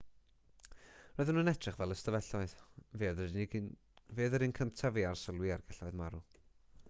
roedden nhw'n edrych fel ystafelloedd fe oedd yr un cyntaf i arsylwi ar gelloedd marw